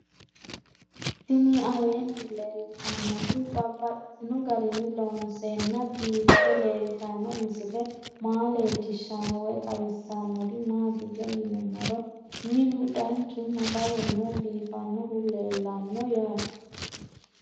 Tinni aleenni leelittannotti babaxxittinno garinni loonseenna biiffe leelittanno misile maa leelishshanno woy xawisannori maattiya yinummoro minnu danchu nafarunno biiffannohu leelanno yaatte